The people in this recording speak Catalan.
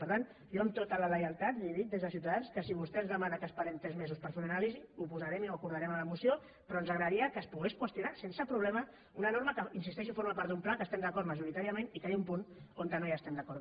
per tant jo amb tota la lleialtat li dic des de ciutadans que si vostè ens demana que esperem tres mesos per fer una anàlisi ho posarem i ho acordarem a la moció però ens agradaria que es pogués qüestionar sense problema una norma que hi insisteixo forma part d’un pla que hi estem d’acord majoritàriament i que hi ha un punt on no estem d’acord